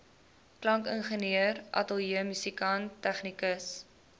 klankingenieur ateljeemusikant tegnikus